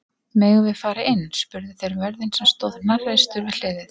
Megum við fara inn? spurðu þeir vörðinn sem stóð hnarreistur við hliðið.